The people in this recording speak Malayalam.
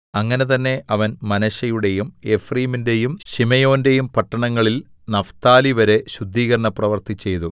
അങ്ങനെ തന്നെ അവൻ മനശ്ശെയുടെയും എഫ്രയീമിന്റെയും ശിമെയോന്റെയും പട്ടണങ്ങളിൽ നഫ്താലിവരെ ശുദ്ധീകരണ പ്രവർത്തി ചെയ്തു